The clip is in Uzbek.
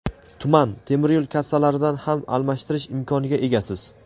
tuman) temiryo‘l kassalaridan ham almashtirish imkoniga egasiz.